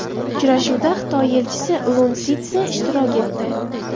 Uchrashuvda Xitoy elchisi Sun Litsze ishtirok etdi.